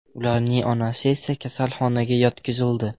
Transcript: Ularning onasi esa kasalxonaga yotqizildi.